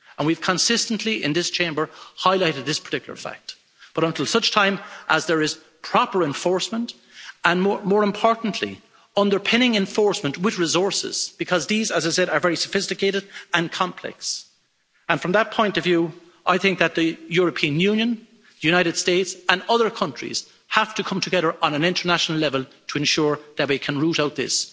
We have consistently, in this Chamber, highlighted this particular fact, but until such time as there is proper enforcement and, more importantly, underpinning of enforcement with resources, because these, as I said, are very sophisticated and complex, from that point of view, I think that the European Union, the United States and other countries have to come together on an international level to ensure that we can root out this.